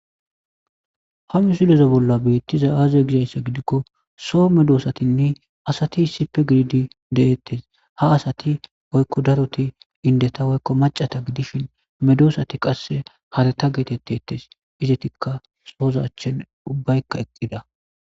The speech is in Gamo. ha mu silezo bolla beettiza aaze gizassa gidikko soo medoosatinne asati sipe giridi deettes ha asati woykko daroti indeta woykko macata gidishin medoosati qasse harata geetetteettes izetikka soozachen ubbaykka eqqida